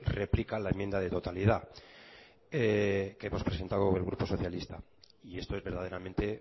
replica la enmienda de totalidad que hemos presentado el grupo socialista y esto es verdaderamente